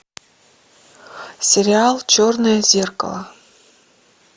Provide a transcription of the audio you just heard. сериал черное зеркало